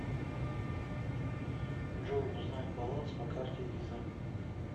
джой узнать баланс по карте виза